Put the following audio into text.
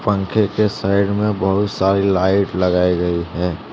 पंखे के साइड में बहुत सारी लाइट लगाई गई है।